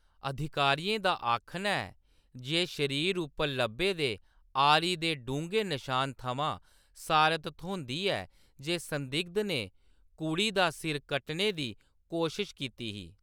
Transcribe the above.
अधिकारियें दा आखना ऐ जे शरीर उप्पर लब्भे दे आरी दे डूंह्‌गे नशान थमां सारत थ्होंदी ऐ जे संदिग्ध ने कुड़ी दा सिर कट्टने दी कोशश कीती ही।